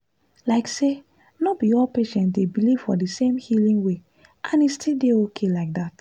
like say no be all patients dey believe for the same healing way and e still dey okay like that.